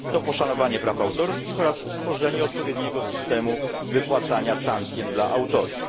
To poszanowanie praw autorskich oraz stworzenie odpowiedniego systemu wypłacania tantiem dla autorów.